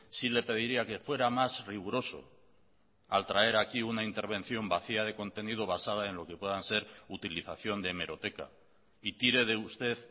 sí le pediría que fuera más riguroso al traer aquí una intervención vacía de contenido basada en lo que puedan ser utilización de hemeroteca y tire de usted